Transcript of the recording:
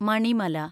Manimala